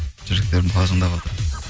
жүректерім қалжыңдаватыр